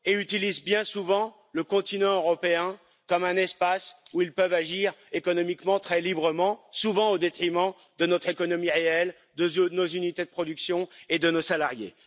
Ils utilisent bien souvent le continent européen comme un espace où ils peuvent agir économiquement très librement, souvent au détriment de notre économie réelle, de nos unités de production et de nos salariés.